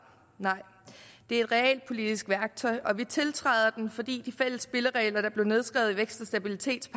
nej det er et realpolitisk værktøj og vi tiltræder den fordi de fælles spilleregler der blev nedskrevet i stabilitets